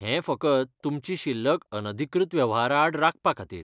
हें फकत तुमची शिल्लक अनधिकृत वेव्हाराआड राखपा खातीर.